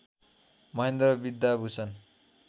Mahendra Vidyabhushan